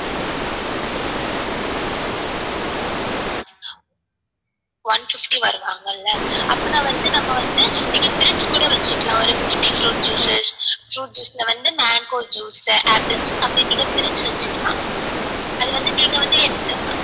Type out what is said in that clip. one fifty வருவாங்கள்ள அப்பனா வந்து நம்ம வந்து நீங்க பிரிச்சி கூட வச்சிக்கலாம் ஒரு fifty fruit juices fruit juices ல வந்து mango juice apple juice அப்டி நீங்க பிரிச்சி வச்சிக்கலாம், அது வந்து நீங்க வந்து எந்த மாதிரி